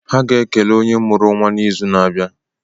Ha ga-ekele onye mụrụ nwa n'izu na-abịa.